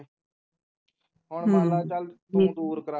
ਹੁਣ ਮੰਨ ਚਲ ਤੂੰ ਦੂਰ ਕਰਿਆ ਹਮ ਠੀਕ